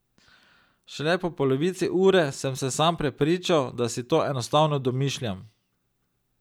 Šele po polovici ure sem se sam prepričal, da si to enostavno domišljam.